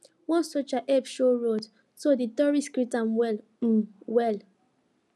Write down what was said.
one soldier help show road so de tourist greet am well um well